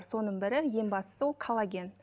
соның бірі ең бастысы ол коллаген